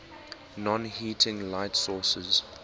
non heating light sources